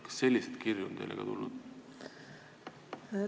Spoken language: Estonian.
Kas ka selliseid kirju on teile tulnud?